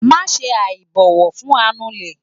maṣe aibọwọ fun anulè